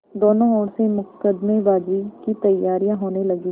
दोनों ओर से मुकदमेबाजी की तैयारियॉँ होने लगीं